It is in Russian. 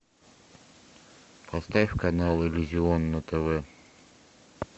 поставь канал иллюзион на тв